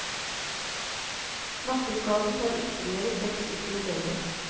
Nakkeskaden tar ytterligere seks uker å lege.